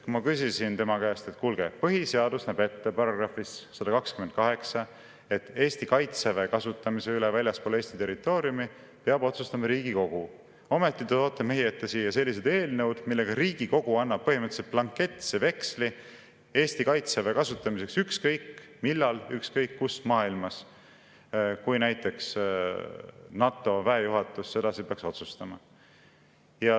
Ma küsisin tema käest, et kuulge, põhiseaduse § 128 näeb ette, et Eesti kaitseväe kasutamise üle väljaspool Eesti territooriumi peab otsustama Riigikogu, ometi te toote meie ette siia sellised eelnõud, millega Riigikogu annab põhimõtteliselt blanketse veksli Eesti kaitseväe kasutamiseks ükskõik millal, ükskõik kus maailmas, kui näiteks NATO väejuhatus sedasi peaks otsustama.